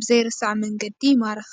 ብዘይርሳዕ መንገዲ ይማርኽ።